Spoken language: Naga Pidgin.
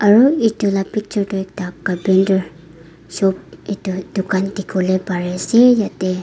aru itu la picture tu ekta carpenter shop itu dukan dikhiwole pari ase yete.